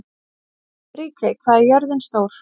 Ríkey, hvað er jörðin stór?